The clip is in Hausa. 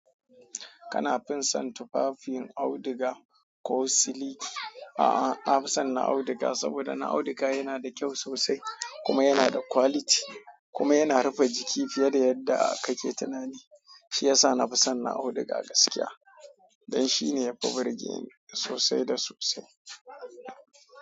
Kana fison tufafin auduga ko siliki? A'a, na fi son na auduga saboda na auduga yana da kyau sosai kuma yana da quality kuma yana rufe jiki fiye da yadda kake tunani. Shi yasa na fi son na auduga gaskiya don shine yafi burge ni sosai da sosai.